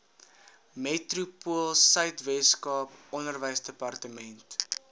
metropoolsuid weskaap onderwysdepartement